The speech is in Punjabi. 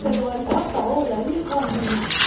ਦੋ-ਤਿੰਨ ਵਾਰੀ ਹਫ਼ਤਾ ਹੋ ਗਿਆ ਸੀ ਮੈਨੂੰ ਖਾਂਦੇ ਨੂੰ